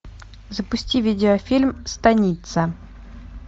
запусти видеофильм станица